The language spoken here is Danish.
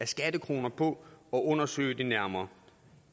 skattekroner på at undersøge det nærmere